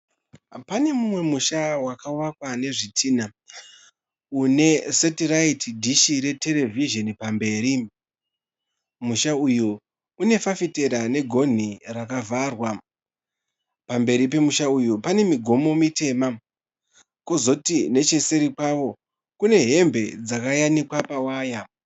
Pane mumwe musha wakavakwa nezvitinha une setiraiti dhishi reterevhizheni pamberi, musha uyu une fafitera negonhi rakavharwa, pamberi pemusha uyu pane migomo mitema kozoti necheseri pawo kune hembe dzakayanikwa pawaya.